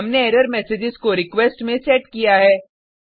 हमने एरर्म्सग्स को रिक्वेस्ट में सेट किया है